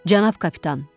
Cənab kapitan!